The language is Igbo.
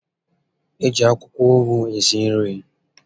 E ji akwụkwọ ụgụ esi nri